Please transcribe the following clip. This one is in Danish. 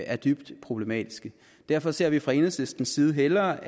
er dybt problematiske derfor så vi fra enhedslistens side hellere